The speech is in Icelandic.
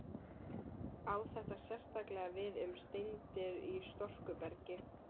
Á þetta sérstaklega við um steindir í storkubergi.